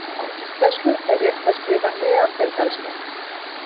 Á íslensku er rétt að skrifa neanderdalsmenn.